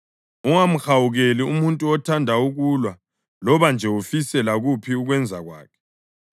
Ungamhawukeli umuntu othanda ukulwa loba nje ufise lakuphi ukwenza kwakhe,